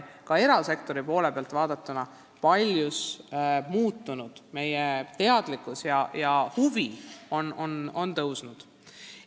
Ka erasektori suhtumine on paljuski muutunud, teadlikkus on tõusnud ja huvi kasvanud.